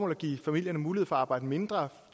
at give familierne mulighed for at arbejde mindre